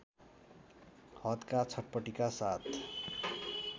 हदका छटपटीका साथ